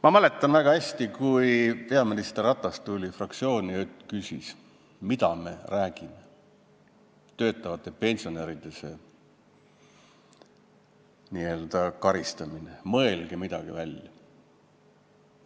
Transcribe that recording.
Ma mäletan väga hästi, kui peaminister Ratas tuli fraktsiooni ja küsis, mida me räägime sellest töötavate pensionäride n-ö karistamisest, et mõelge midagi välja.